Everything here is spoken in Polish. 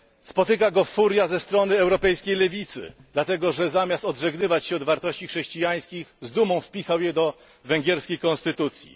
Spotyka go furia ze strony europejskiej lewicy, dlatego że zamiast odżegnywać się od wartości chrześcijańskich z dumą wpisał je do węgierskiej konstytucji.